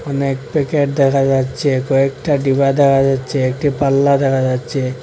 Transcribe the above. অনেক প্যাকেট দেখা যাচ্ছে কয়েকটা ডিবা দেখা যাচ্ছে একটি পাল্লা দেখা যাচ্ছে।